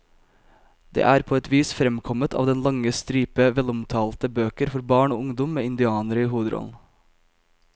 Det er på et vis fremkommet av den lange stripe velomtalte bøker for barn og ungdom med indianere i hovedrollen.